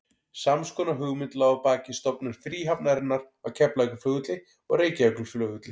Sams konar hugmynd lá að baki stofnun fríhafnarinnar á Keflavíkurflugvelli og Reykjavíkurflugvelli.